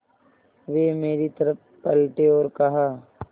वे मेरी तरफ़ पलटे और कहा